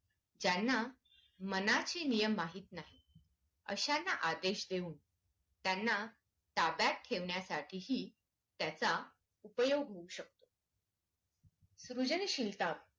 ज्यांना मनाचे नियम माहित नाहीत अश्याना आदेश देऊन त्यांना ताब्यात ठेवण्यासाठीहि त्याचा उपयोग होऊ शकतो सुजनशीलता